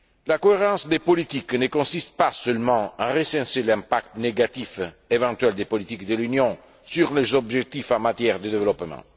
La cohérence des politiques ne consiste pas seulement à recenser l'impact négatif éventuel des politiques de l'Union sur les objectifs en matière de développement.